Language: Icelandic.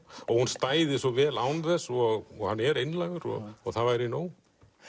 hún stæði svo vel án þess og hann er einlægur það væri nóg